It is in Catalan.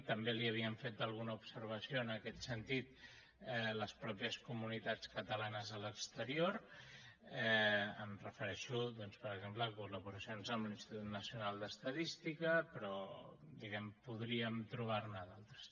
també li havien fet alguna observació en aquest sentit les mateixes comunitats catalanes a l’exterior em refereixo doncs per exemple a col·laboracions amb l’institut nacional d’estadística però diguem ne podríem trobar ne d’altres